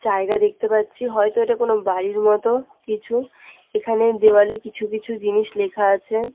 জায়গা দেখতে পাচ্ছি হয়তো এটা কোন বাড়ির মত কিছু এখানে দেওয়ালে কিছু কিছু জিনিস লেখা আছে।